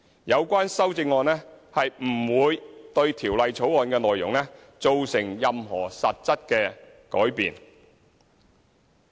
有關修正案不會對《條例草案》的內容造成任何實質改變。